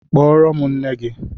Kpọrọ m nne gi!